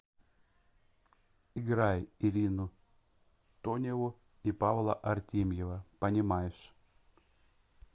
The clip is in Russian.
играй ирину тоневу и павла артемьева понимаешь